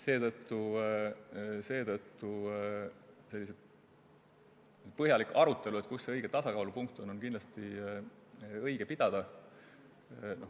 Seetõttu on sellist põhjalikku arutelu, kus see õige tasakaalupunkt asub, kindlasti õige pidada.